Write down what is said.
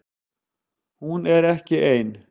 Hún er ekki ein